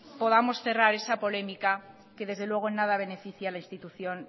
podamos cerrar esa polémica que desde luego en nada beneficia a la institución